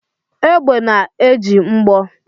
Egbe na-eji mgbọ